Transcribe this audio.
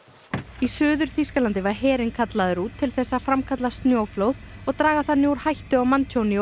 í Suður Þýskalandi var herinn kallaður út til þess að framkalla snjóflóð og draga þannig úr hættu á manntjóni og